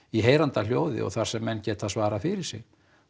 í heyranda hljóði og þar sem menn geta svarað fyrir sig